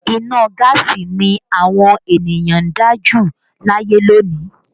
Iná gaasi ni àwọn ènìyàn ń dá jù láyé lónìí